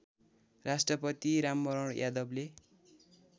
राष्ट्रपति रामवरण यादवले